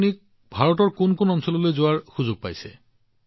তেন্তে আপুনি আগতে ভাৰতৰ কোন কোন ঠাইলৈ যোৱাৰ সুযোগ পাইছিল